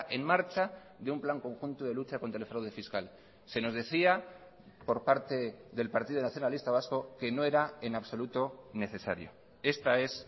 en marcha de un plan conjunto de lucha contra el fraude fiscal se nos decía por parte del partido nacionalista vasco que no era en absoluto necesario esta es